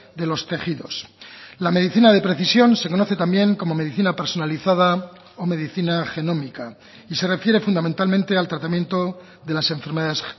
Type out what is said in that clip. de los tejidos la medicina de precisión se conoce también como medicina personalizada o medicina genómica y se refiere fundamentalmente al tratamiento de las enfermedades